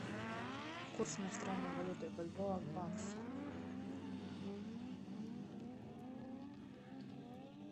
курс иностранной валюты бальбоа в баксы